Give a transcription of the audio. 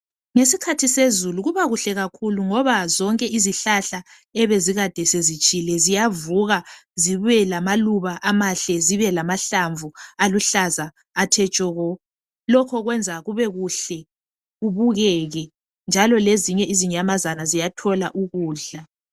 Ngeskhathi sezulu kuba kuhle kakhulu ngoba zonke izihlahla ebezikade zezitshile ziyavuka zibe lamaluba amahle zibe lamahlamvu aluhlaza athe tshoko lokho kwenza kube kuhle kubukeke njalo lezinye izinyamazana ziyathola ukudla